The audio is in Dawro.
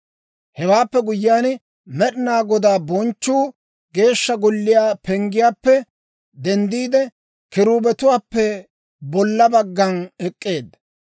Hewaappe guyyiyaan, Med'inaa Godaa bonchchuu Geeshsha Golliyaa penggiyaappe denddiide, kiruubetuwaappe bolla baggan ek'k'eedda.